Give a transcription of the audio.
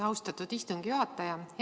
Austatud istungi juhataja!